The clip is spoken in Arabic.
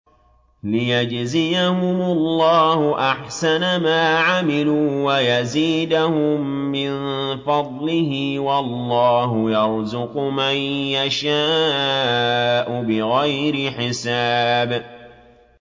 لِيَجْزِيَهُمُ اللَّهُ أَحْسَنَ مَا عَمِلُوا وَيَزِيدَهُم مِّن فَضْلِهِ ۗ وَاللَّهُ يَرْزُقُ مَن يَشَاءُ بِغَيْرِ حِسَابٍ